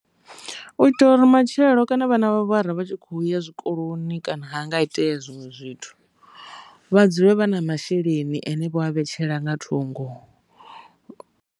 U itela uri matshelo kana vha na vhana vha tshi kho ya zwikoloni kana ha nga itea zwinwe zwithu vha dzule vha na masheleni ane vha a vhetshela nga thungo.